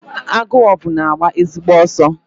Agụogbu na-agba ezigbo ọsọ.